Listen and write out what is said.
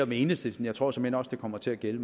med enhedslisten jeg tror såmænd også det kommer til at gælde